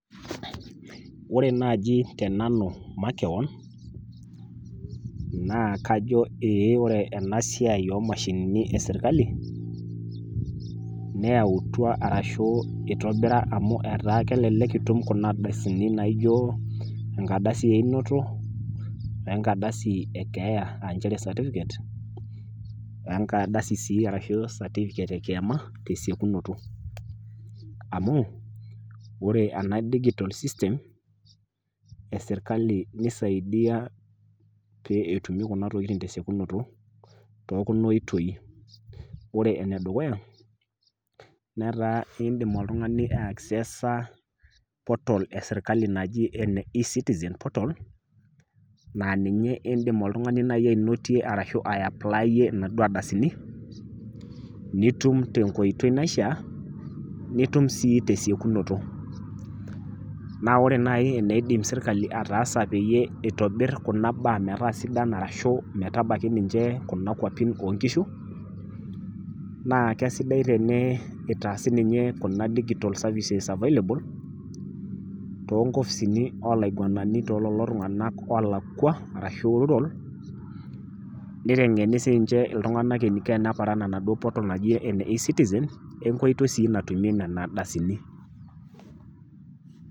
Ore naji tenanu makewon naa kajo ee ore enasiai omashinini esirkali neyautua ashu itobira amu etaa kelelek itum kuna ardasini naijo enkarasi einoto wenkardasi ekeeyaa aanchere certificate , wenkardasi sii ashu certificate ekiama tesiokinoto , amu ore ena digital system[cs esirkali ,nisaidia pee etumi kuna tokitin tesiekunoto too kuna oitoi. Ore enedukuya netaa indim oltungani aeaccessa portal esirkali naji ecitizen portal naa ninye indim oltungani nai ainotie arashu ayaplayie naaduo ardasini , nitum tenkoitoi naishiaa , nitum sii tesiekunoto . Naa ore nai eneidim sirkali ataasa peyie itobir kuna baa metaa sidan arashu metabaiki ninche kuna kwapin oonkishu naa kesidai teneitaasi ninye kuna digital services available, too nkopisini olaingwanani tookulo tunganak olakwa arashu rural nitengeni sinche iltunganak eniko teneparan enaduo portal naji eneecitizen enkoitoi sii natumie nena ardasini.